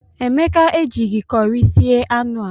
Emeka ejighi curị sie anụ a.